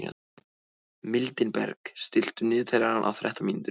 Mildinberg, stilltu niðurteljara á þrettán mínútur.